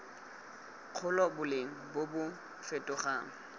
dikgolo boleng bo bo fetogang